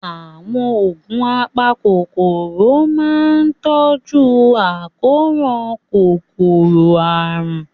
Àwọn oògùn apakòkòrò máa ń tọ́jú àkóràn kòkòrò àrùn.